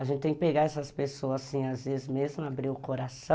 A gente tem que pegar essas pessoas assim, às vezes mesmo abrir o coração